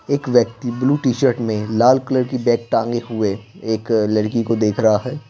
एक व्यक्ति blue T-shirt में लाल कलर की बैग टांगे हुए एक अ लड़की को देख रहा है।